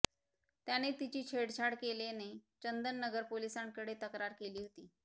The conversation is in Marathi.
त्याने तिची छेडछाड केल्याने चंदननगर पोलिसांकडे तक्रार केली होती